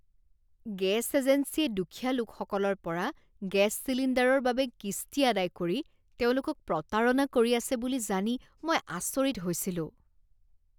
Gas এজেঞ্চীয়ে দুখীয়া লোকসকলৰ পৰা গেছ চিলিণ্ডাৰৰ বাবে কিস্তি আদায় কৰি তেওঁলোকক প্ৰতাৰণা কৰি আছে বুলি জানি মই আচৰিত হৈছিলোঁ।